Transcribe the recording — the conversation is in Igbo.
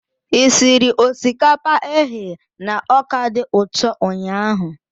Ị siri osikapa eghe na ọka dị ụtọ ụnyahụ?